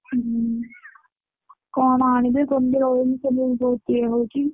ହଁ କଣ ଆଣିବେ ଇଏ ହଉଛି।